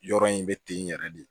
Yɔrɔ in bɛ ten yɛrɛ de